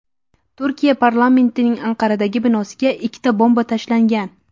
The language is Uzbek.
Turkiya parlamentining Anqaradagi binosiga ikkita bomba tashlangan.